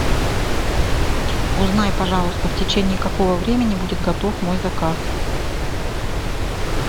узнай пожалуйста в течении какого времени будет готов мой заказ